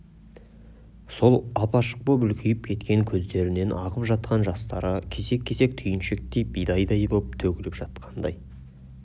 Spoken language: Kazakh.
сол ап-ашық боп үлкейіп кеткен көздерінен ағып жатқан жастары кесек-кесек түйіншектей бидайдай боп төгіліп жатқандай